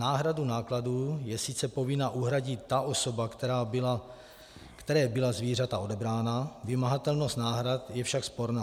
Náhradu nákladů je sice povinna uhradit ta osoba, které byla zvířata odebrána, vymahatelnost náhrad je však sporná.